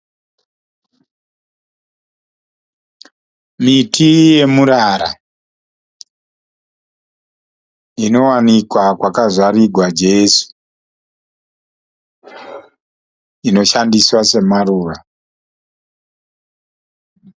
Miti yemurara, inowanikwa kwakazvarigwa Jesu, inoshandiswa semaruva.